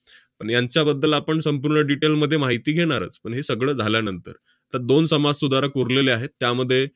पण यांच्याबद्दल आपण संपूर्ण detail मध्ये माहिती घेणारच, पण हे सगळं झाल्यानंतर. तर दोन समाजसुधारक उरलेले आहेत, त्यामध्ये